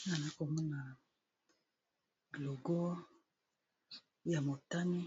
awa nazo komona logo ya motane